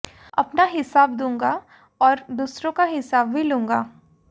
अपना हिसाब दूंगा और दूसरों का हिसाब भी लूंगा